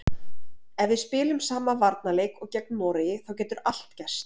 Ef við spilum sama varnarleik og gegn Noregi þá getur allt gerst.